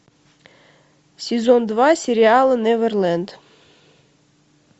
сезон два сериала неверленд